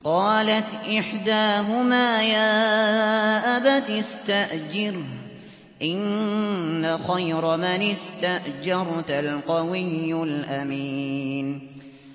قَالَتْ إِحْدَاهُمَا يَا أَبَتِ اسْتَأْجِرْهُ ۖ إِنَّ خَيْرَ مَنِ اسْتَأْجَرْتَ الْقَوِيُّ الْأَمِينُ